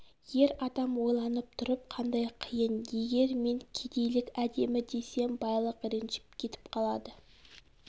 ер адам ойланып тұрып қандай қиын егер мен кедейлік әдемі десем байлық ренжіп кетіп қалады